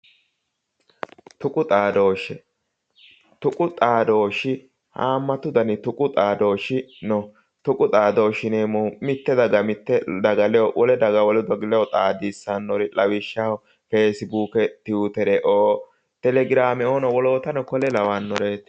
Tuqu xaadooshshe. tuqu xaadooshshi haammatu garinni xaadooshshi no. tuqu xaadooshshi yineemmohu mitte daga mitte daga wole daga wole daga ledo xaadisannori lawishshaho feesibuuke tuwiitere, telegiraameoo woleno kuri lawannoreeti.